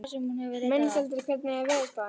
Mensalder, hvernig er veðurspáin?